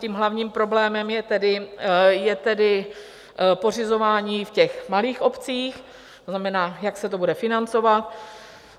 Tím hlavním problémem je tedy pořizování v těch malých obcích, to znamená, jak se to bude financovat.